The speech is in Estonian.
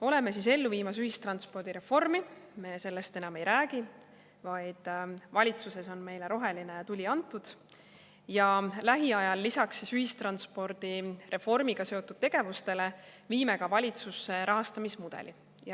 Oleme ellu viimas ühistranspordireformi, me sellest enam ei räägi, vaid valitsuses on meile roheline tuli antud, ja lisaks ühistranspordireformiga seotud tegevustele viime lähiajal valitsusse rahastamismudeli.